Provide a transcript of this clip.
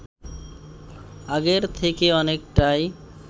আগের থেকে অনেকটাই